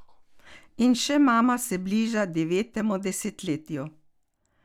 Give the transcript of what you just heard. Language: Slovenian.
In še mama se bliža devetemu desetletju.